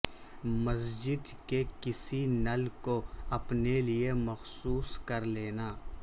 مسجد کے کسی نل کو اپنے لئے مخصوص کر لینا